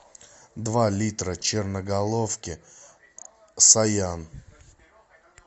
два литра черноголовки саян